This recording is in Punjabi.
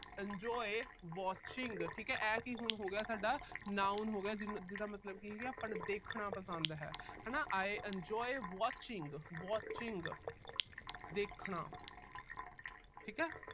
enjoy watching ਠੀਕ ਐ। ਆਹ ਕੀ ਹੁਣ ਹੋ ਗਿਆ ਸਾਡਾ noun ਹੋ ਗਿਆ ਜਿਹਦਾ ਅਹ ਜਿਹਦਾ ਮਤਲਬ ਕੀ ਹੈ ਦੇਖਣਾ ਪਸੰਦ ਹੈ ਹਨਾ। I enjoy watching watching ਦੇਖਣਾ ਠੀਕ ਆ।